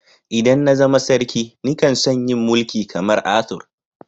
ldan na zama sarki ni kan so'n yi Mulki kamar Arthur.